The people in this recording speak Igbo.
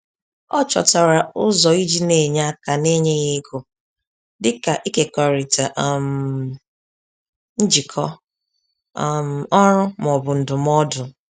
Ọ chọtara ụzọ iji n'enye aka na-enyeghị ego, dịka ịkekọrịta um njikọ um ọrụ ma ọ bụ ndụmọdụ.